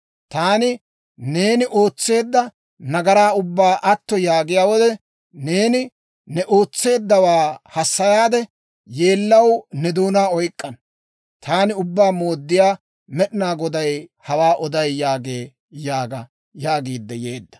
Taani neeni ootseedda nagaraa ubbaa atto yaagiyaa wode, neeni ne ootseeddawaa hassayaade, yeellaw ne doonaa oyk'k'ana. Taani Ubbaa Mooddiyaa Med'inaa Goday hawaa oday» yaagee› yaaga» yaagiidde yeedda.